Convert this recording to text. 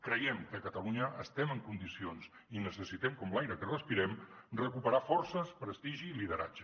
creiem que a catalunya estem en condicions i necessitem com l’aire que respirem recuperar forces prestigi i lideratge